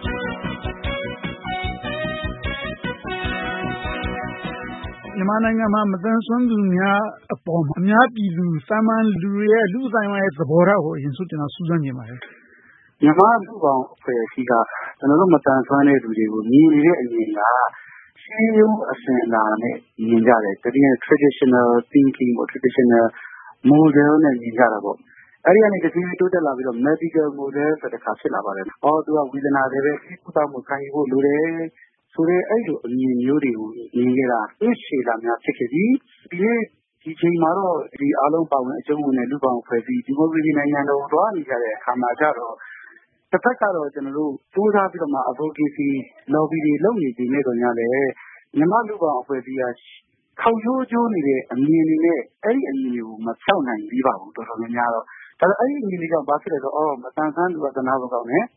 မြန်မာနိုင်ငံမှာ မသန်စွမ်းသူများအပေါ် အများပြည်သူ သာမန်လူတွေရဲ့ လူ့အသိုင်းအဝိုင်း သဘောထားကို ကျနော် ဦးစွာစူးစမ်းချင်ပါတယ်။ မြန်မာ့လူ့ဘောင်အဖွဲ့အစည်းက ကျနော်တို့ မသန်စွမ်းတဲ့လူတွေကို မြင်နေတဲ့အမြင်က ရှေးရိုးအစဉ်အလာနဲ့ မြင်ကြတယ်။ Traditional thinking model နဲ့ မြင်ကြတယ်။ အဲဒီက တဖြည်းဖြည်း တိုးတက်လာပြီးတော့ Medical model တခါ ဖြစ်လာပါတယ်။ သူက ဝေဒနာသည်ပဲ ဆေးကုသဖို့ ခံယူဖို့လိုတယ်ဆိုတဲ့ အဲဒီလိုအမြင်မျိုးတွေကို မြင်နေတာ နှစ်ရှည်လများ ဖြစ်ခဲ့ပြီ။ ဒီနေ့ ဒီအချိန်မှာတော့ အဲဒါပါဝင်အကြုံဝင်တဲ့ လူ့ဘောင်အဖွဲ့အစည်း ဒီမိုကရေစီနိုင်ငံတော်ကို သွားနေတဲ့အခါကြတော့ တဘက်ကတော့ ကြိုးစားပြီးတော့ Advocacy လုပ်နေပေမယ့်သော်ငြားလဲ မြန်မာ့လူ့ဘောင်အဖွဲ့အစည်းက ခေါက်ရိုးကျိုးနေတဲ့ အမြင်တွေနဲ့ အဲဒီအမြင်တွေကို တော်တော်များများ မဖျောက်နိုင်သေးပါဘူး။ အဲဒီအမြင်တွေက ဘာဖြစ်လဲဆိုတော့ မသန်စွမ်းသူက သနားဖို့ကောင်းတယ်။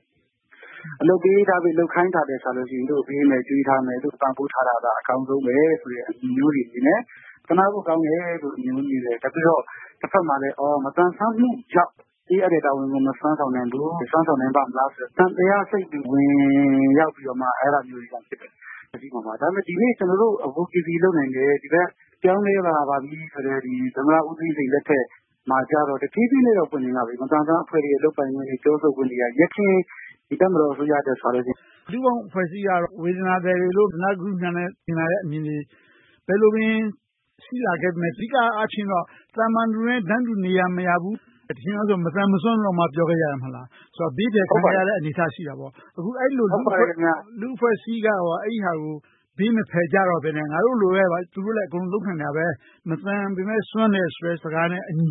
အလုပ်ပေးပြီး လုပ်ခိုင်းတာထက်စာရင် လုပ်ပေးမယ်၊ ကျွေးထားမယ်၊ ပံ့ပိုးထားတာက အကောင်းဆုံးပဲဆိုတဲ့ အမြင်မျိုးတွေရှိတယ်။ သနားဖို့ကောင်းတယ်ဆိုပြီး မြင်ကြတယ်။ နောက်ပြီးတော့ တဘက်မှာလဲ မသန်စွမ်းမှုကြောင့် ပေးအပ်တဲ့ တာဝန်ကို မစွမ်းဆောင်နိုင်ဘူး။ စွမ်းဆောင်နိုင်ပါ့မလားဆိုတဲ့ သံသယစိတ်တွေ ဝင်ရောက်ပြီးတော့မှ အဲဒါမျိုးတွေ ဖြစ်ကြတယ်။ ဒါပေမဲ့ ဒီနေ့ ကျနော်တို့ Advocacy လုပ်နိုင်တယ်၊ ပြောင်းလဲလာပါပြီဆိုတဲ့ သမ္မတဦးသိန်းစိန်လက်ထက်မှာကြတော့ တဖြည်းဖြည်းနဲ့တော့ ပွင့်လင်းလာတယ်။ မသန်စွမ်းအဖွဲ့တွေ လုပ်ပိုင်ခွင့်တွေ၊ ပြောဆိုခွင့်တွေက ယခင်တပ်မတော်အစိုးရလက်ထက်နဲ့စာရင် တိုးတက်လာတယ်။ လူ့ဘောင်အဖွဲ့အစည်းကတော့ ဝေဒနာသည်တွေလို့… မြင်လာတဲ့အမြင်တွေ၊ ဘယ်လိုပင် ရှိလာခဲ့ပေမယ့် အဓိကအားဖြင့်တော့ သာမန်လူတွေနဲ့ တန်းတူမရဘူး။ အရင်တုန်းကဆို မသန်မစွမ်းလို့တောင် ပြောခဲ့ကြတယ်။ အဲဒီလို ဘေးဖယ်ခံခဲ့ရတဲ့ အနေအထားရှိခဲ့တယ်။ အခု အဲဒီလို လူ့အဖွဲ့အစည်းက အဲဒါကို ဘေးမဖယ်ကြတော့ဘဲ ငါတို့လိုပဲ သူတို့လည်း အကုန်လုံး လုပ်နိုင်တယ်။ မသန်ပေမယ့် စွမ်းတယ်ဆိုတဲ့ စကားနဲ့အညီ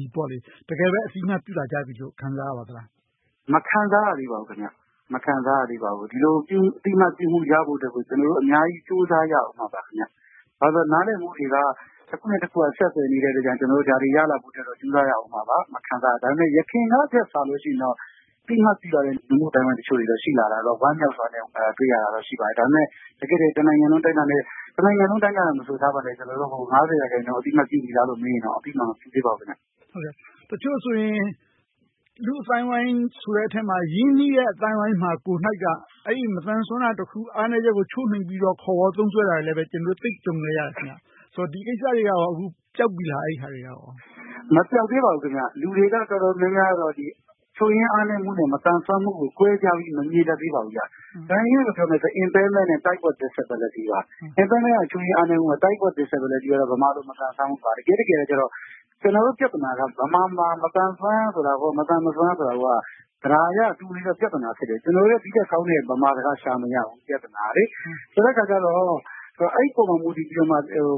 တကယ်ပဲ အသိအမှတ်ပြုလာကြပြီလို့ ခံစားရပါသလား။ မခံစားရသေးပါဘူး။ ဒီလို အသိအမှတ်ပြုခံရဖို့အတွက် ကျနော်တို့ အများကြီး ကြိုးစားရပါအုံးမယ်။ ဘာဖြစ်လို့လဲဆိုတော့ နားလည်မှုတွေက တခုနဲ့တခု ဆက်နွယ်နေတော့ ဒါတွေရလို့ဖို့အတွက် ကြိုးစားရပါအုံးမှာပါ။ ဒါပေမဲ့ ယခင်ကထက်စာရင် အသိအမှတ်ပြုလာတဲ့ လူမှု့အသိုင်းအဝိုင်းတချို့ ရှိလာတာတော့ ဝမ်းမြောက်စွာနဲ့ တွေ့ရပါတယ်။ ဒါပေမဲ့ တနိုင်ငံလုံး အတိုင်းအတာနဲ့ ရာခိုင်နှုန်းလောက် အသိအမှတ် ပြုပြီလားလို့ မေးရင်တော့ အသိအမှတ်မပြုသေးပါဘူး။ တချို့ဆိုရင် လူ့အသိုင်းအဝိုင်းဆိုတဲ့အထဲမှာ ရင်းနှီးတဲ့ အသိုင်းအဝိုင်းကိုပင် အဲဒီမသန်စွမ်းတာတခု၊ အားနည်းချက်ကို ချိုးနှိမ်ပြီးတော့ ခေါ်ဝေါ်သုံးစွဲတာတွေလည်း ကျနော်တို့ တွေ့ကြုံခဲ့ရတယ်။ ဆိုတော့ ဒီကိစ္စတွေကရော အခု ပျောက်ပြီလား။ မပျောက်သေးပါဘူး။ လူတွေက တော်တော်များများကတော့ ချို့ယွင်းအားနည်းမှုနဲ့ မသန်စွမ်းမှုကို ကွဲပြားပြီး မမြင်တတ်သေးပါဘူး။ ဒါကို အင်္ဂလိပ်လို ပြောမယ်ဆိုရင် impairment နဲ့ type of disability ပါ။ impairment ချို့ယွင်းအားနည်ချက်မှု၊ type of disability ကတော့ ဗမာလို မသန်စွမ်းမှုပါ။ တကယ့်တကယ်တော့ ကျနော်တို့ ပြဿနာက ဗမာမှာ မသန်စွမ်းဆိုတာကို.. ကျနော်တို့ ဒီထက်ကောင်းတဲ့ ဗမာစကား ရှာမရဘူး ပြဿနာက။ အဲဒီအခါကြတော့ အဲဒီအပေါ် မူတည်ပြီးတော့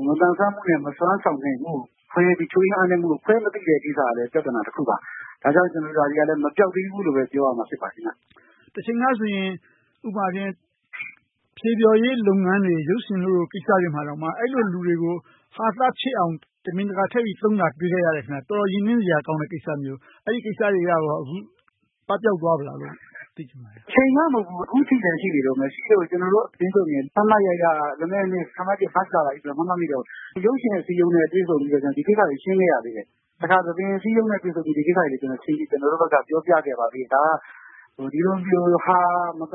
မသန်စွမ်းမှုနဲ့ မစွမ်းဆောင်နိုင်မှု၊ ချို့ယွင်းအားနည်းမှုတို့ကို ခွဲမသိတဲ့ကိစ္စက ပြဿနာတခုပါ။ ဒါကြောင့် မပျောက်သေးဘူးလို့ပဲ ပြောရမှာ ဖြစ်ပါတယ်။ တချိန်ကဆိုရင် ဖျော်ဖြေရေးလုပ်ငန်းတွေ၊ ရုပ်ရှင်တို့လိုကိစ္စတွေမှာတောင်မှ အဲဒီလိုလူတွေကို ဟာသဖြစ်အောင် တမင်တကာထည့်ပြီးသုံးတာ တွေ့ခဲ့ရတယ်။ တော်တော်ရင်နှစ်စရာကောင်းတဲ့ ကိစ္စမျိုး။ အဲဒီကိစ္စတွေကရော အခု ပပျောက်သွားပြီလား။ တချိန်ကမဟုတ်ဘူး၊ အခုထိလဲ ရှိနေတုန်းပါ။ ရှိလို့ ကျနော်တို့အသင်းဆိုရင် မှတ်မှတ်ရရ လွန်ခဲ့တဲ့နှစ် မတ်လလောက်က ရုပ်ရှင်အစည်းအရုံးနဲ့ တွေ့ဆုံပြီးတော့ ဒီကိစ္စတွေကို ရှင်းခဲ့ရသေးတယ်။ တခါ သဘင်အစည်းအရုံးနဲ့ တွေ့ပြီး ဒီကိစ္စတွေကို ကျနော်တို့ဘက်က ပြောပြခဲ့ပါသေးတယ်။ ဒီလို မသ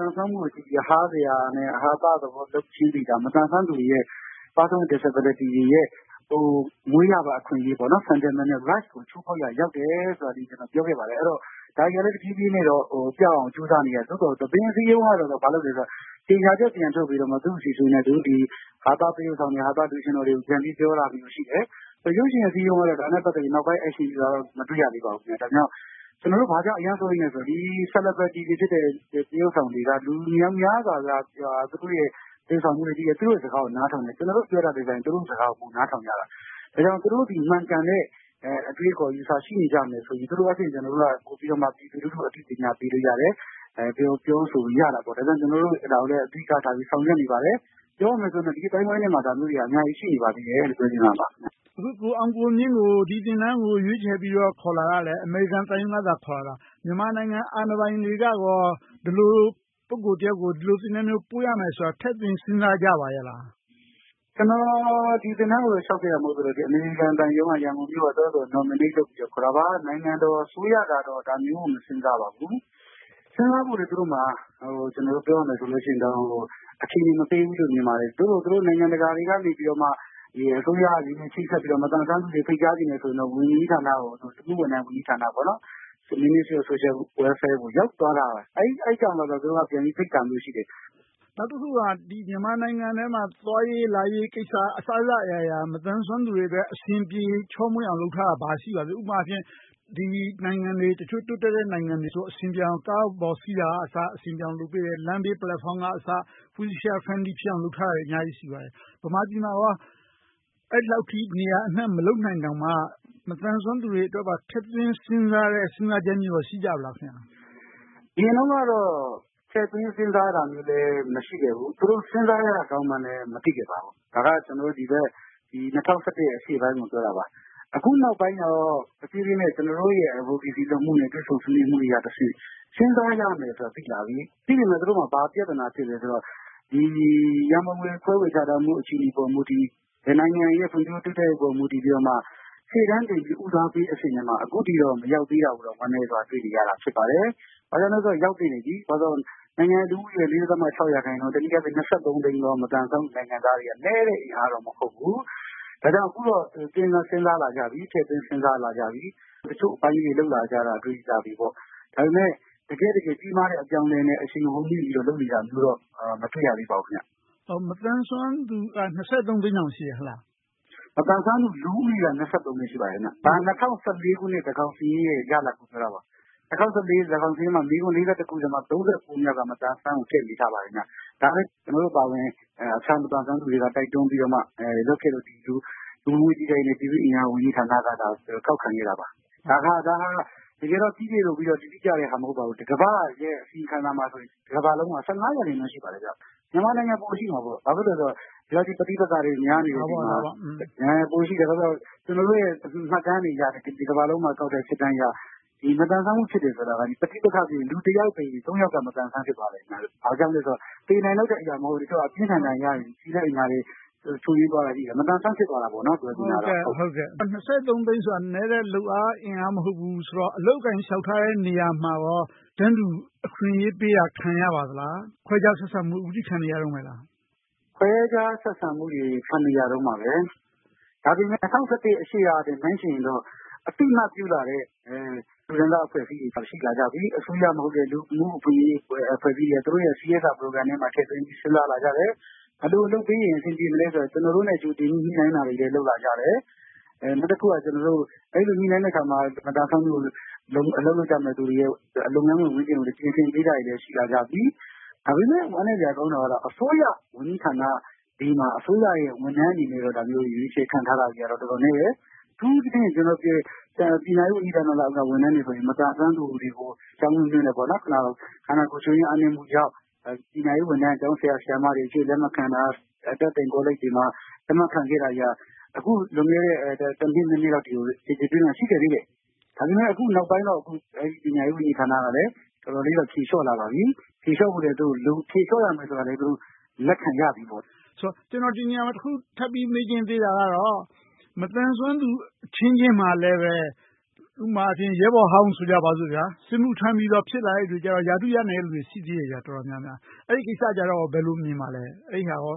န်စွမ်းမှုကိုကြည့်ပြီး ဟာစရာ ဟာသလုပ်ခြင်းသည်က မသန်စွမ်းသူတွေ Disability တွေရဲ့ မွေးရာပါ အခွင့်အရေး Fundamental Rights ကို ချိုးဖောက်ရာ ရောက်တယ်ဆိုတာကို ပြောခဲ့ပါတယ်။ အဲဒီတော့ ဒါတွေကိုလည်း တဖြည်းဖြည်းနဲ့ပျောက်အောင် ကြိုးစားနေတယ်။ သို့သော် သဘင်အစည်းအရုံးက ဘာလုပ်သလဲဆိုတော့ ကြေညာချက်ပြန်ထုတ်ပြီး သူတို့သည် ဟာသ သရုပ်ဆောင်၊ ဟာသလူရွှင်တော်များကို ပြန်ပြီးပြောတာတွေ ရှိတယ်။ ရုပ်ရှင်အစည်းအရုံးကတော့ ဒါနဲ့ ပတ်သက်ပြီး နောက်ပိုင်း Action ယူတာတော့ မတွေ့ရသေးပါဘူး။ ဒါကြောင့် ကျနော်တို့ အရမ်းစိုးရိမ်သလဲဆိုရင် ဒီ Celebraties တွေဖြစ်တဲ့ သရုပ်ဆောင်တွေက လူအများစုက သူတို့သရုပ်ဆောင်မှုတွေကိုကြည့်တယ်။ သူတို့စကားကို နားထောင်တယ်။ ကျနော်တို့ပြောတာထက် သူတို့ပြောတာကို နားထောင်တယ်။ ဒါကြောင့် သူတို့သည် မှန်ကန်တဲ့ အတွေးအခေါ် အယူအဆ ရှိနေကြမယ်ဆိုရင် သူတို့က ပြည်သူလူထုကို ပညာပေးလို့ရတယ်။ ပြောဆိုလို့ရတယ်။ ဒါကြောင့် ကျနော်တို့ ဒါကိုလည်း အဓိကထား ဆောင်ရွက်နေပါတယ်။ ပြောမယ်ဆိုရင်တော့ ဒီအသိုင်းအဝိုင်းထဲမှာ ဒါမျိုးတွေက အများကြီး ရှိနေပါသေးတယ်လို့ ပြောချင်ပါတယ်။ အခု ကိုအောင်ကိုမြင့်ကို ဒီသင်တန်းကို ရွေးချယ်ပြီးတော့ ခေါ်လာတာ အမေရိကန်သံရုံးက ခေါ်လာတာ။ မြန်မာနိုင်ငံ အာဏာပိုင်တွေကရော ဒီလို ပုဂ္ဂိုလ်တယောက်ကို ဒီလိုသင်တန်းမျိုး ပို့ရမယ်ဆိုတာကို ထည့်သွင်းစဉ်းစားကြပါရဲ့လား။ ကျနော် ဒီသင်တန်းကို လျှောက်ခဲ့တာ မဟုတ်ဘူး။ အမေရိကန်သံရုံး ရန်ကုန်မြို့က သူတို့ဘာသာသူတို့ Nominate လုပ်ပြီး ခေါ်တာပါ။ နိုင်ငံတော်အစိုးရကတော့ ဒါမျိုးကို မစဉ်းစားပါဘူး။ စဉ်းစားဖို့လဲ သူတို့မှာ ပြောရမယ်ဆိုရင်တော့ အခြေအနေမပေးဘူးလို့ မြင်ပါတယ်။ သို့သော် သူတို့ နိုင်ငံတကာကနေ အစိုးရအချင်းချင်း ချိတ်ဆက်ပြီးတော့ မသန်စွမ်းသူတွေကို ဖိတ်ကြားချင်တယ်ဆိုရင်တော့ လူမှုဝန်ထမ်းဝန်ကြီးဌာန - Ministry of Social Welfare ကို ရောက်သွားတယ်။ အဲဒါကြောင့် သူတို့က ဖိတ်တာမျိုးရှိတယ်။ နောက်တခုက မြန်မာနိုင်ငံထဲမှာ သွားရေးလာရေးကိစ္စ အစစအရာရာ မသန်စွမ်းသူတွေအတွက် အဆင်ပြေချောမွှေ့အောင် လုပ်ထားတာ ဘာရှိပါလဲ။ ဥပမာအားဖြင့် ဒီနိုင်ငံတွေ တိုးတက်တဲ့နိုင်ငံတွေမှာဆိုရင် အဆင်ပြေအောင် ကားပေါ်တက်တာကအစ အဆင်ပြေအောင် လုပ်ပေးတယ်။ လမ်းဘေးပလက်ဖောင်းကအစ Wheelchair Friendly ဖြစ်အောင် လုပ်ပေးထားတာတွေ အများကြီးရှိပါတယ်။ ဗမာပြည်မှာ အဲဒီလောက်အထိ နေရာအနံှ မလုပ်နိုင်တောင်မှ မသန်စွမ်းသူတွေအတွက် ထည့်သွင်းစဉ်းစားတဲ့ စဉ်းစားချက်မျိုး ရှိပါလား။ အရင်တုန်းကတော့ ထည့်သွင်းစဉ်းစားတာမျိုး မရှိခဲ့ဘူး။ သူတို့ စဉ်းစားရကောင်းမှန်လဲ မသိခဲ့ပါဘူး။ ဒါက ၂၀၁၁ ရှေ့ပိုင်းကို ပြောတာပါ။ အခုနောက်ပိုင်းကြတော့ တဖြည်းဖြည်းနဲ့ ကျနော်တို့ရဲ့ Advocacy လုပ်မှု၊ တွေ့ဆုံဆွေးနွေးမှုတွေမှတဆင့် စဉ်းစားရမယ်ဆိုတာကို သိလာပြီ။ သိပေမယ့် သူတို့မှာ ဘာပြဿနာ ဖြစ်လဲဆိုတော့ ရန်ပုံငွေ ခွဲဝေချထားမှု အခြေအနေပေါ် မူတည်ပြီး၊ နိုင်ငံရဲ့ ဖွံ့ဖြိုးတိုးတက်ရေးပေါ် မူတည်ပြီးမှ ရှေ့တန်းတင်ပြီး ဦးစားပေးအဆင့်ထဲမှာ အခုထိတော့ မရောက်သေးတာကို ဝမ်းနည်းစွာ တွေ့နေရတာ ဖြစ်ပါတယ်။ ဘာကြောင့်လဲဆို ရောက်သင့်ပြီ။ ဘာကြောင့်လဲဆိုတော့ နိုင်ငံရဲ့ ရာခိုင်နှုန်း၊ တနည်းအားဖြင့် သိန်းသော မသန်စွမ်းမှု နိုင်ငံသားတွေက နည်းတဲ့အင်အားတော့ မဟုတ်ဘူး။ ဒါကြောင့် အခုတော့ စဉ်းစားလာကြပြီ။ ထည့်သွင်းစဉ်းစားလာကြပြီ။ တချို့အပိုင်းလေးတွေ လုပ်လာကြတာကို တွေ့ရပြီ။ ဒါပေမဲ့ တကယ့်တကယ် ကြီးမားတဲ့ အပြောင်းအလဲနဲ့ အရှိန်ဟုန်မြှင့်ပြီး ပြောင်းလဲလုပ်နေတာမျိုး မတွေ့ရသေးပါဘူး။ မသန်စွမ်းသူက သိန်းတော့ ရှိတယ်ဟုတ်လား။ မသန်စွမ်းသူ လူဦးရေက သိန်း ရှိပါတယ်။ ၂၀၁၄ ခုနှစ် သန်းခေါင်စာရင်းရဲ့ ရလဒ်ကို ပြောတာပါ။ ၂၀၁၄ သန်းခေါင်စာရင်းထဲမှာ မေးခွန်း ခုထဲမှာ ခုမြောက်က မသန်စွမ်းကို ထည့်ရေးထားပါတယ်။ ကျနော်တို့အပါအဝင် အခြားမသန်စွမ်းသူတွေ တိုက်တွန်းပြီးတော့မှ လုပ်ခဲ့လို့ လူဝင်မှုကြီးကြပ်ရေးနဲ့ ပြည်သူ့အင်အား ဝန်ကြီးဌာနက ဒါကို ကောက်ခံခဲ့တာပါ။ ဒါကတော့ တကယ်တော့ ပြီပြည့်စုံပြီးတော့ တိကျတဲ့ဟာ မဟုတ်ပါဘူး။ ကမ္ဘာ့ရဲ့ အစီရင်ခံစာမှာဆိုရင် တကမ္ဘာလုံးမှာ ရာခိုင်နှုန်း ရှိပါတယ်။ မြန်မာနိုင်ငံ ပိုရှိမှာပေါ့။ ဘာဖြစ်လို့လဲဆိုတော့ ဒီလောက် ပဋိပက္ခတွေ များနေတော့ ပိုရှိတယ်။ ကျနော်တို့ရဲ့ မှတ်တမ်းတွေအရ တကမ္ဘာလုံးမှာ ကောက်တဲ့စစ်တမ်းတွေအရ မသန်စွမ်းမှု ဖြစ်တယ်ဆိုတာက ပဋိပက္ခဖြစ်ရင် လူတယောက်သေရင်၊ သုံးယောက် မသန်စွမ်း ဖြစ်သွားတယ်။ ဘာကြောင့်လဲဆိုတော့ သေနိုင်လောက်တဲ့ဒဏ်ရာ မဟုတ်ဘဲ၊ အပြင်းအထန် ဒဏ်ရာ ထိခိုက်အနာတွေ၊ ချို့ယွင်းသွားတာတွေ ရှိတယ်။ မသန်စွမ်း ဖြစ်သွားတာပေါ့။ သိန်းဆိုတာ နည်းတဲ့လုပ်အား အင်အားမဟုတ်ဘူးဆိုတော့ အလုပ်အကိုင် လျှောက်ထားတဲ့ နေရာမှာကော တန်းတူအခွင့်အရေးပေးတာ ခံရပါသလား။ ခွဲခြားဆက်ဆံမှု ဖြစ်ခံနေရတုန်းလား။ ခွဲခြားဆက်ဆံမှုတွေ ခံနေရတုန်းပါပဲ။ ဒါပေမဲ့ ၂၀၁၁ ရှေ့ကထက် နှိုင်းယှဉ်ရင်တော့ အသိအမှတ်ပြုလာတဲ့ လူတန်းစားအဖွဲ့အစည်းတွေ ရှိလာကြပြီ။ အစိုးရမဟုတ်တဲ့ လူမှုအခွင့်အရေး အဖွဲ့အစည်းတွေက သူတို့ရဲ့ CSR Program ထဲမှာ ထည့်သွင်းပြီးတော့ စဉ်းစားလာကြတယ်။ ဘယ်လိုလုပ်ပေးရင် အဆင်ပြေမလဲဆိုတာကို ကျနော်တို့ ကြိုတင်ညှိနှိုင်းတာတွေ လုပ်လာကြတယ်။ နောက်တခုက အဲဒီလို ညှိနှိုင်းတဲ့အခါမှာ မသန်စွမ်းသူ အလုပ်လုပ်ကြမယ့် လုပ်ငန်းခွင်ဝန်းကျင်ကိုလည်း ပြင်ဆင်ပေးတာတွေလည်း ရှိလာကြပြီ။ ဒါပေမဲ့ ဝမ်းနည်းစရာ ကောင်းတာကတော့ အစိုးရဝန်ကြီးဌာနတွေမှာ အစိုးရဝန်ထမ်းတွေအနေနဲ့ ဒါမျိုး ရွေးချယ်ခန့်ထားတာတွေ တော်တော်နည်းတယ်။ အထူးသဖြင့် ပညာရေးဝန်ကြီးဌာနအောက်က ဝန်ထမ်းတွေဆိုရင် မသန်စွမ်းသူတွေ ကျောင်းတက်ပြုခွင့်၊ ခန္ဓာကိုယ် ချို့ယွင်းအားနည်းမှုကြောင့် ပညာရေးဝန်းထမ်း၊ ကျောင်းဆရာ၊ ဆရာမတွေအဖြစ် လက်မခံတာ။ အတတ်သင်ကောလိပ်တွေမှာ လက်မခံခဲ့တာတွေက အခု လွန်ခဲ့တဲ့ နှစ်၊ နှစ်အထိကို ကျယ်ကျယ်ပြန့်ပြန့် ရှိခဲ့သေးတယ်။ ဒါပေမဲ့ အခုနောက်ပိုင်းတော့ ပညာရေးဝန်ကြီးဌာနက တော်တော်လေးတော့ ဖြေလျှော့လာပါပြီ။ ဖြေလျှော့ရမယ်ဆိုတာလည်း သူတို့ လက်ခံလာကြပါပြီ။ ကျနော် ဒီနေရာမှာ ထပ်ပြီးမေးချင်သေးတာက မသန်စွမ်းသူအချင်းချင်းမှာလည်း ဥပမာ ရဲဘော်ဟောင်း ဆိုကြပါစို့.. စစ်မှုထမ်းပြီးတော့ ဖြစ်လာတဲ့လူတွေကြတော့ ရာထူးရနေတဲ့လူတွေ တော်တော်များများ ရှိနေသေးတယ်။ အဲဒီကိစ္စကို ဘယ်လိုမြင်ပါလဲ။ အဲဒီဟာကော